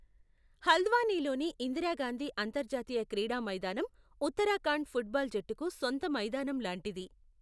హల్ద్వానీలోని ఇందిరా గాంధీ అంతర్జాతీయ క్రీడా మైదానం ఉత్తరాఖండ్ ఫుట్ బాల్ జట్టుకు సొంత మైదానం లాంటిది.